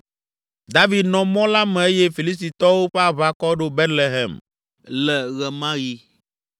16 David nɔ mɔ la me eye Filistitɔwo ƒe aʋakɔ ɖo Betlehem le ɣe ma ɣi.